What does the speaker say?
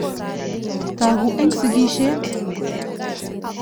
Toku eng sikishet.